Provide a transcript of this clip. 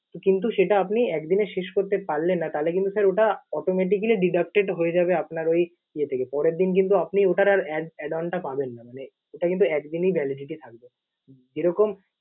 কিন্তু সেটা আপনি একদিনে শেষ করতে পারলেন না তাহলে কিন্তু sir ওটা automatically deducted হয়ে যাবে আপনার ঐ ইয়ে থেকে। পরের দিন কিন্তু আপনি ওটার আর add~ add on টা পাবেন না, ওটা কিন্তু একদিনই validity থাকবে। যেরকম